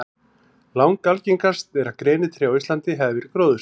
Langalgengast er að grenitré á Íslandi hafi verið gróðursett.